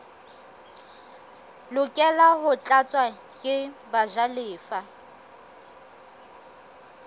lokela ho tlatswa ke bajalefa